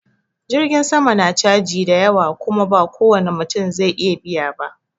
Jirgin sama na caji da yawa Kuma ba kowani mutum zai iya biya ba.